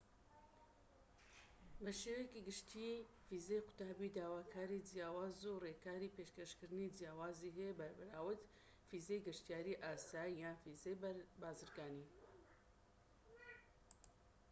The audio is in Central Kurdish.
بە شێوەیەکی گشتی ڤیزەی قوتابی داواکاری جیاواز و ڕێکاری پێشکەشکردنی جیاوازی هەیە بەراورد بە ڤیزەی گەشتیاری ئاسایی یان ڤیزەی بازرگانی